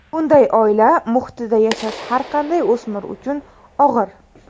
Bunday oila muhitida yashash har qanday o‘smir uchun og‘ir.